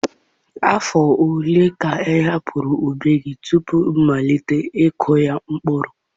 Afọ ole ka ị hapụrụ ubi gị tupu ịmalite ịkụ ya mkpụrụ?